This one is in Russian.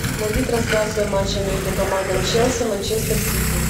найди трансляцию матча между командами челси манчестер сити